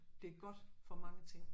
Det er godt for mange ting